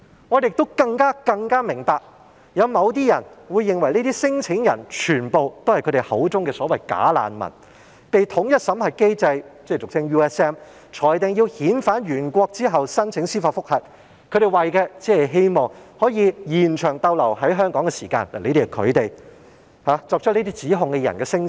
我們更明白，某些人認為這些聲請人，全部也是他們口中所謂的"假難民"，他們被統一審核機制裁定要遣返原國後申請司法覆核，只是為了希望延長逗留在香港的時間，但這些只是作出這些指控的人的聲稱。